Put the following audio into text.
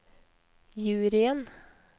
juryen